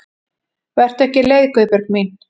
Vertu ekki leið Guðbjörg mín.